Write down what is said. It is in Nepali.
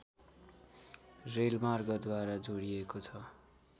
रेलमार्गद्वारा जोडिएको छ